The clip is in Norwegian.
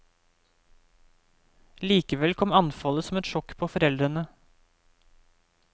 Likevel kom anfallet som et sjokk på foreldrene.